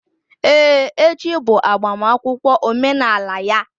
Ee echi bụ agbamakwụkwọ omenala ya